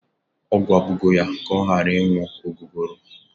Ọ gwabugo ya ka ọ gharaị ịṅụ ogogoro!